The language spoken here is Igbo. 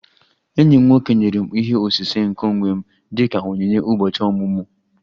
Enyi m nwoke nyere m ihe osise nke onwe m dị ka onyinye ụbọchị ọmụmụ